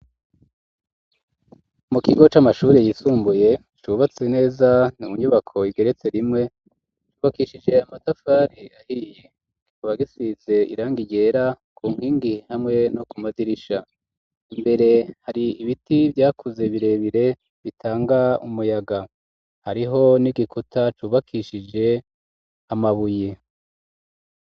mu kigo c'amashuri yisumbuye cubatse neza, mu nyubako igeretse rimwe yubakishije amatafari ahiye kikaba gisize irangi ryera ku nkingi hamwe no kumadirisha imbere hari ibiti vyakuze birebire bitanga umuyaga , hariho n'igikuta cubakishije amabuye.